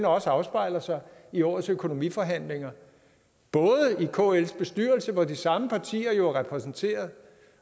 også afspejler sig i årets økonomiforhandlinger både i kls bestyrelse hvor de samme partier jo er repræsenteret